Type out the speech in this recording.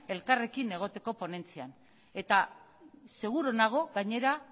elkarrekin egoteko ponentzian eta seguru nago gainera